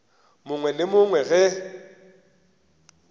mongwe le yo mongwe ge